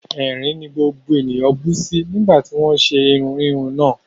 Ẹ̀rín ni gbogbo ènìyàn bú sí nígbà tí wọ́n ń ṣe irun híhun náà